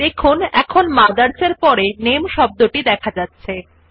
দেখুন এখন MOTHERS এর পরে শব্দটি দেখা যাচ্ছে